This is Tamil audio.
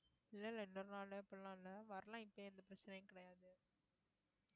இல்ல இல்ல இன்னொரு நாளு அப்படிலாம் இல்லை வரலாம் இப்போ எந்த பிரச்சனையும் கிடையாது